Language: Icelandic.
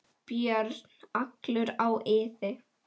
björn, allur á iði.